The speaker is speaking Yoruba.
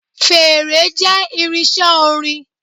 Fèèrè jé irinsé orin